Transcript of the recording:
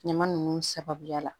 Ɲama ninnu sababuya la